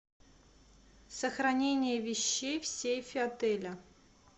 сохранение вещей в сейфе отеля